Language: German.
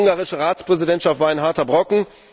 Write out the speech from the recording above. Die ungarische Ratspräsidentschaft war ein harter Brocken.